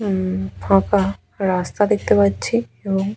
উমম ফাঁকা রাস্তা দেখতে পাচ্ছি এবং--